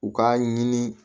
U k'a ɲini